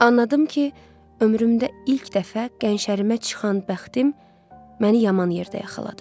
Anladım ki, ömrümdə ilk dəfə qəşərimə çıxan bəxtim məni yaman yerdə yaxaladı.